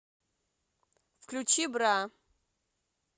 включи бра